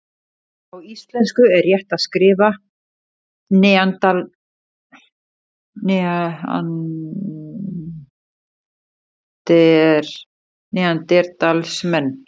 Á íslensku er rétt að skrifa neanderdalsmenn.